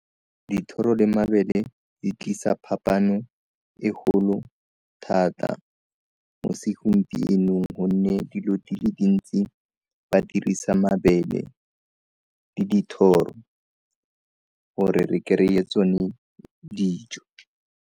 Dithoro le mabele di tlisa phapano e golo thata mo segompienong gonne dilo di le dintsi ba dirisa mabele le dithoro gore re kry-e tsone dijo.